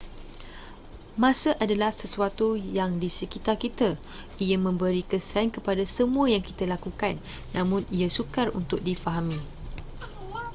masa adalah sesuatu yang di sekitar kita ia memberi kesan kepada semua yang kita lakukan namun ia sukar untuk difahami